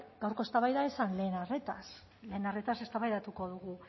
gaurko eztabaida ez zen lehen arretaz lehen arretaz eztabaidatuko dugu